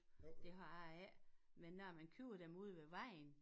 Men det har jeg ikke men når man køber dem ude ved vejen